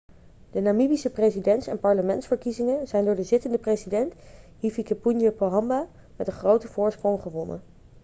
de namibische presidents en parlementsverkiezingen zijn door de zittende president hifikepunye pohamba met een grote voorsprong gewonnen